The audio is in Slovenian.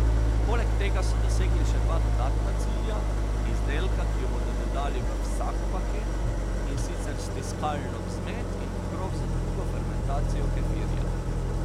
Poleg tega so dosegli še dva dodatna cilja, izdelka, ki ju bodo dodali v vsak paket, in sicer stiskalno vzmet in pokrov za drugo fermentacijo kefirja.